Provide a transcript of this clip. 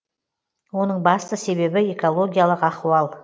оның басты себебі экологиялық ахуал